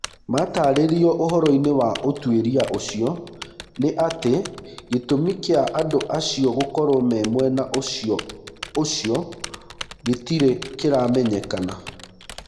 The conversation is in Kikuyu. matarĩrio ũhoroi-nĩ wa ũtwĩria ũcio nĩ atĩ gĩtũmi kĩa andũacio gũkorwo me mwena ũcio gĩtirĩ kĩramenyekana.